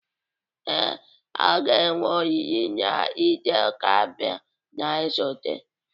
Ee, a ga-enwe oriri na Eid-el-Kabir na-esote.